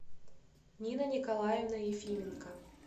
нина николаевна ефименко